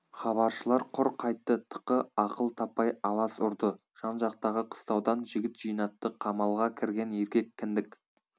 хабаршылар құр қайтты тықы ақыл таппай алас ұрды жан-жақтағы қыстаудан жігіт жинатты қамалға кірген еркек кіндік